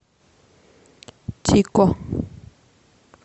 тико